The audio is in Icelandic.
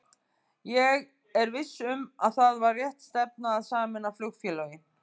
Ég er viss um að það var rétt stefna að sameina flugfélögin.